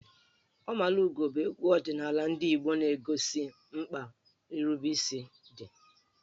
Ọmalugo bụ egwu ọdịnala ndị Igbo na-egosi mkpa nrubeisi dị.